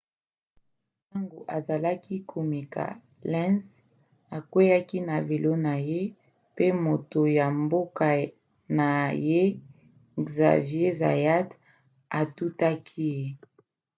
ntango azalaki komeka lenz akweaki na velo na ye pe moto ya mboka na ye xavier zayat atutaki ye